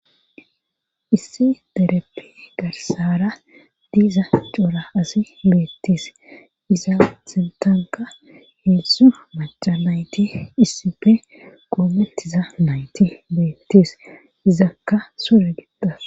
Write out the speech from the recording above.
Issi dereppe garsara diiza cora asi beettis iza sintanka heessu maca nayti issife qoomettiza nayti beettis izakka sure gittas.